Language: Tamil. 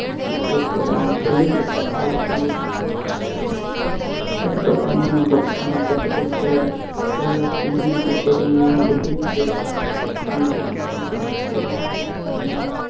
teacher கூட அவங்க சொல்லிக் கொடுக்கிற பாடத்தை விட அதுக்கப்புறமா நம்ம அவங்க கத்துக் கொடுக்கிற எல்லாத்தையுமே நம்ம திறமையா புத்திசாலி நம்ம நம்மளை நம்ம திறமை படுத்திக்கிட்டோம்ன்னா